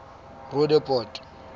roodepoort